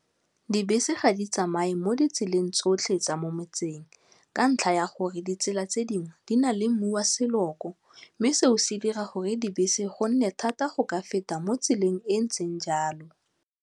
Dibese ga di tsamaye mo ditseleng tsotlhe tsa mo motseng ka ntlha ya gore ditsela tse dingwe di na le mmu wa seloko mme seo se dira gore dibese gonne thata go ka feta mo tseleng e ntseng jalo.